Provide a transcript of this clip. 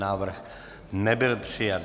Návrh nebyl přijat.